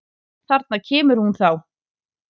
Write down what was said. Þarna kemur hún þá!